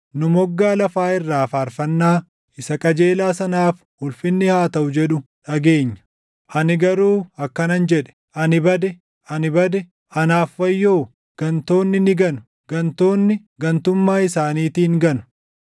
Nu moggaa lafaa irraa faarfannaa, “Isa qajeelaa sanaaf ulfinni haa taʼu” jedhu dhageenya. Ani garuu akkanan jedhe; “Ani bade, ani bade! Anaaf wayyoo! Gantoonni ni ganu! Gantoonni gantummaa isaaniitiin ganu!”